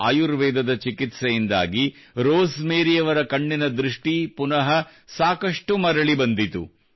ಆಯುರ್ವೇದದ ಚಿಕಿತ್ಸೆಯಿಂದಾಗಿ ರೋಸ್ ಮೇರಿಯವರ ಕಣ್ಣಿನ ದೃಷ್ಟಿ ಪುನಃ ಸಾಕಷ್ಟು ಮರಳಿ ಬಂದಿತು